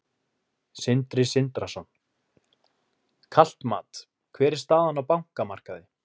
Sindri Sindrason: Kalt mat, hver er staðan á bankamarkaði?